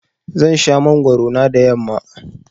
Zan sha mangwaro na da yamma.